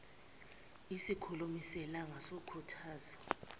isikhulumi selanga sokukhuthaza